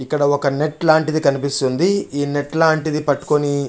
ఇక్కడ ఒక నెట్ లాంటిది కనిపిస్తుంది ఈ నెట్ లాంటిది పట్టుకుని --